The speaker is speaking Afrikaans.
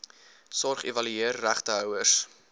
sorg evalueer regtehouers